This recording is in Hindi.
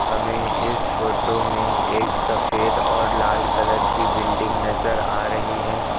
हमें इस फोटो में एक सफेद और लाल कलर की बिल्डिंग नजर आ रही है।